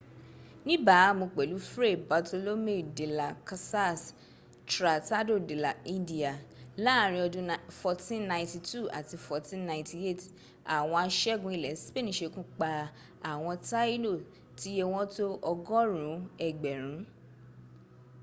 níbàámu pẹ̀lú fray bartolomé de las casas tratado de las indias láàrin ọdún 1492 àti 1498 àwọn aṣẹ́gun ilẹ̀ spain sekúpa àwọn taíno tíye wọ́n tó ọgọ́rùn ún ẹgbẹ̀rún